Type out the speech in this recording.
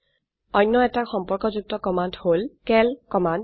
অনয়এটি সম্পর্কযুক্ত কমান্ড হল চিএএল কমান্ড